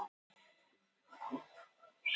Sú aðlögun ýtti undir þróun spendýra.